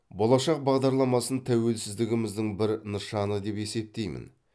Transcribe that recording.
болашақ бағдарламасын тәуелсіздігіміздің бір нышаны деп есептеймін